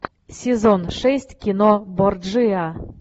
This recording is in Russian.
сезон шесть кино борджиа